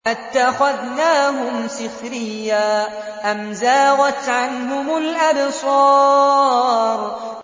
أَتَّخَذْنَاهُمْ سِخْرِيًّا أَمْ زَاغَتْ عَنْهُمُ الْأَبْصَارُ